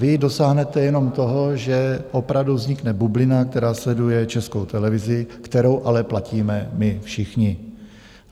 Vy dosáhnete jenom toho, že opravdu vznikne bublina, která sleduje Českou televizi, kterou ale platíme my všichni.